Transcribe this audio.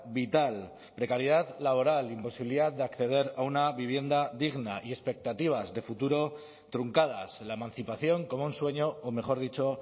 vital precariedad laboral imposibilidad de acceder a una vivienda digna y expectativas de futuro truncadas la emancipación como un sueño o mejor dicho